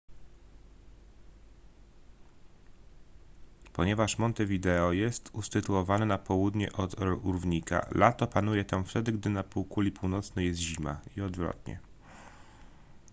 ponieważ montevideo jest usytuowane na południe od równika lato panuje tam wtedy gdy na półkuli północnej jest zima i odwrotnie